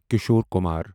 Kishore Kumar